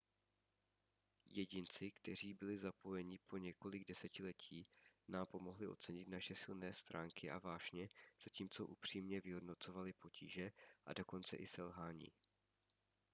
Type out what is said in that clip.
jedinci kteří byli zapojeni po několik desetiletí nám pomohli ocenit naše silné stránky a vášně zatímco upřímně vyhodnocovali potíže a dokonce i selhání